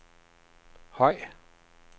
høj